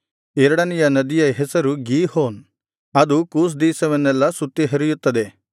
ಎರಡನೆಯ ನದಿಯ ಹೆಸರು ಗೀಹೋನ್ ಅದು ಕೂಷ್ ದೇಶವನ್ನೆಲ್ಲಾ ಸುತ್ತಿ ಹರಿಯುತ್ತದೆ